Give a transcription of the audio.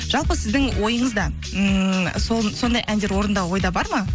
жалпы сіздің ойыңызда ммм сондай әндер орындау ойда бар ма